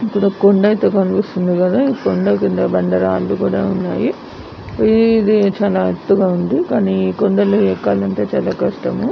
ఇక్కడ కొండా కనిపిస్తుంది కొండా కింద ఒక బండ ఉంది ఇది చానా ఎత్తుగా ఉంది కానీ కొండలు ఎక్కాల అంటే చాల కష్టము --